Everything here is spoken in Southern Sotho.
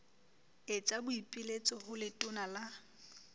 etsa boipiletso ho letona la